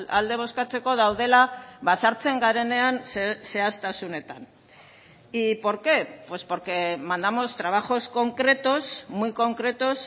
alde bozkatzeko daudela sartzen garenean zehaztasunetan y por qué pues porque mandamos trabajos concretos muy concretos